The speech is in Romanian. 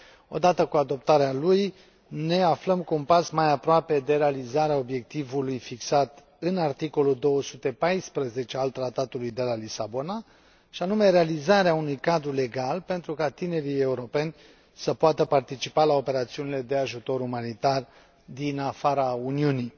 Odată cu adoptarea lui ne aflăm cu un pas mai aproape de realizarea obiectivului fixat în articolul 214 al Tratului de la Lisabona, și anume realizarea unui cadru legal pentru ca tinerii europeni să poată participa la operațiunile de ajutor umanitar din afara Uniunii.